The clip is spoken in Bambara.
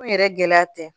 Ko yɛrɛ gɛlɛya tɛ